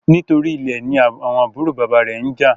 Nítorí Ilè ní àwọn àbúrò bàbá rẹ njà